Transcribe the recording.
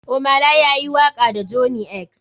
Ohmay lay ya yi waka da johney x.